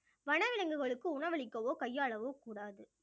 வனவிலங்குகளுக்கு உணவளிக்கவோ கையாளவோ கூடாது